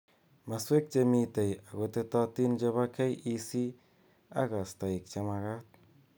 Maswek che mitei ako tetotin chebo KEC ak kastaik chemakat.